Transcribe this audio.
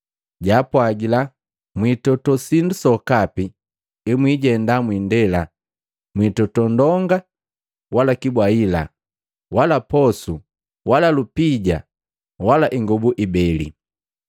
Jaapwagila, “Mwiitoto sindu sokapi emwijenda mwiindela, mwitoto ndonga, wala kibwahila, wala posu, wala lupija, wala ingobu ibeli.